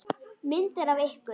Myndir af ykkur.